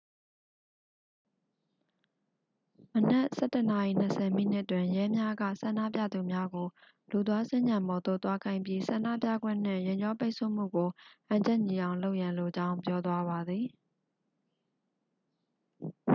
မနက် 11:20 တွင် ရဲများက ဆန္ဒပြသူများကို လူသွားစင်္ကြံပေါ်သို့ သွားခိုင်းပြီး ဆန္ဒပြခွင့်နှင့် ယာဉ်ကြောပိတ်ဆို့မှုကို ဟန်ချက်ညီအောင်လုပ်ရန်လိုကြောင်း ပြောသွားပါသည်